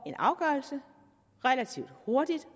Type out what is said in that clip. en afgørelse relativt hurtigt